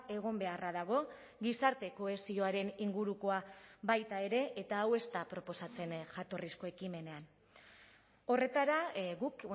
egon beharra dago gizarte kohesioaren ingurukoa baita ere eta hau ez da proposatzen jatorrizko ekimenean horretara guk